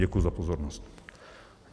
Děkuji za pozornost.